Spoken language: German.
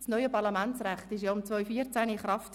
2014 trat auch das neue Parlamentsrecht in Kraft.